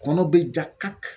Kɔnɔ be ja kaki